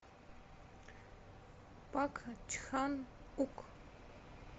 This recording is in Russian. пак чхан ук